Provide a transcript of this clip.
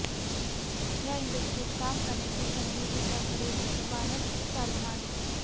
या इण्डस्ट्रीत काम करण्याची संधी तिच्याकडे नशीबानंच चालून आली